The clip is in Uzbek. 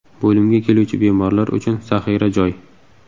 Bo‘limga keluvchi bemorlar uchun zaxira joy.